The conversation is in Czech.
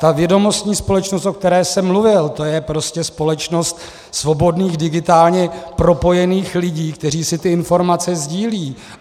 Ta vědomostní společnost, o které jsem mluvil, to je prostě společnost svobodných, digitálně propojených lidí, kteří si ty informace sdílejí.